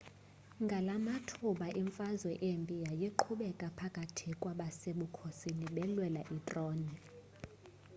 ngalamathuba imfazwe embi yayiqhubeka phakathi kwabasebukhosini belwela itrone